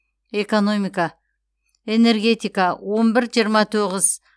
экономика энергетика он бір жиырма тоғыз